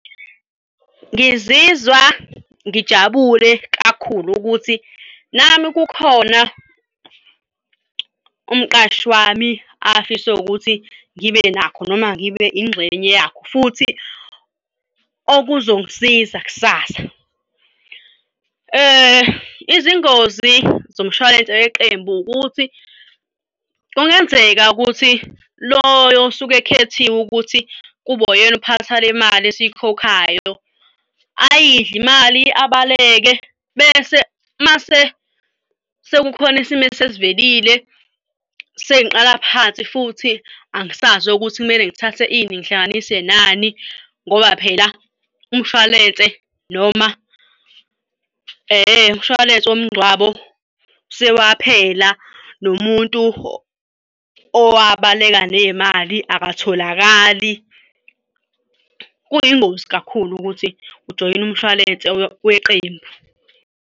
Ngizizwa ngijabule kakhulu ukuthi nami kukhona umqashi wami afise ukuthi ngibe nakho noma ngibe ingxenye yakho futhi okuzongisiza kusasa. Izingozi zomshwalense weqembu ukuthi kungenzeka ukuthi loyo osuke ekhethiwe ukuthi kube uyena uphatha le mali esiyikhokhayo ayidle imali, abaleke bese mase sekukhona isimo esesivelile sengiqala phansi futhi angisazi ukuthi kumele ngithathe ini ngihlanganise nani ngoba phela umshwalense noma umshwalense womngcwabo sewaphela nomuntu owabaleka ney'mali akatholakali. Kuyingozi kakhulu ukuthi ujoyina umshwalense weqembu.